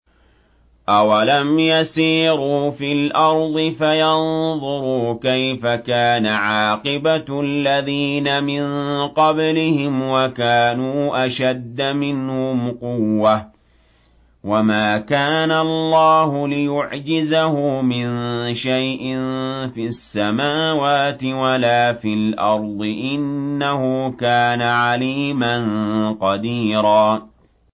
أَوَلَمْ يَسِيرُوا فِي الْأَرْضِ فَيَنظُرُوا كَيْفَ كَانَ عَاقِبَةُ الَّذِينَ مِن قَبْلِهِمْ وَكَانُوا أَشَدَّ مِنْهُمْ قُوَّةً ۚ وَمَا كَانَ اللَّهُ لِيُعْجِزَهُ مِن شَيْءٍ فِي السَّمَاوَاتِ وَلَا فِي الْأَرْضِ ۚ إِنَّهُ كَانَ عَلِيمًا قَدِيرًا